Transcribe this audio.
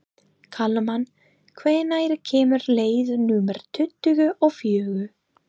Kalman, hvenær kemur leið númer tuttugu og fjögur?